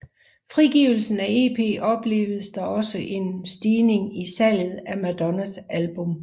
Frigivelsen af EP opleves der også en stigning i salget af Madonnas album